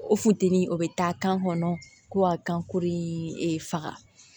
O funtɛni o bɛ taa kan kɔnɔ ko ka kan kuru in faga